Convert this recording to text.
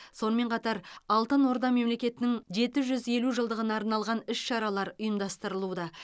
сонымен қатар алтын орда мемлекетінің жеті жүз елу жылдығына арналған іс шаралар ұйымдастырылуда